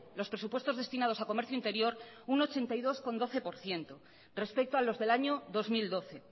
los presupuestos destinados a comercio interior un ochenta y dos coma doce por ciento respecto a los del año dos mil doce